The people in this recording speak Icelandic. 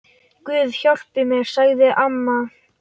Guð hjálpi mér, sagði amma.